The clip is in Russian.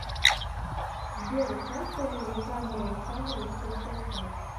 сбер часто ли александр александрович путешествует